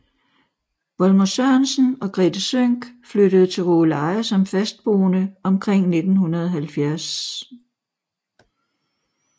Volmer Sørensen og Grethe Sønck flyttede til Rågeleje som fastboende omkring 1970